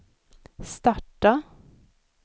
starta